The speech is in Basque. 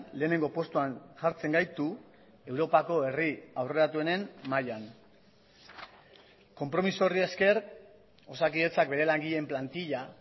lehenengo postuan jartzen gaitu europako herri aurreratuenen mailan konpromiso horri esker osakidetzak bere langileen plantila